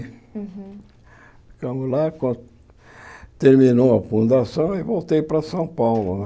Ficamos lá, com terminou a fundação e voltei para São Paulo né.